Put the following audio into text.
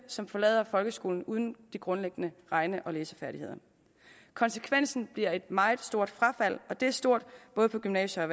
som forlader folkeskolen uden de grundlæggende regne og læsefærdigheder konsekvensen bliver et meget stort frafald og det er stort både på gymnasier og